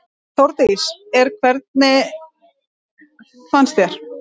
Þórdís: En hvernig fannst þér?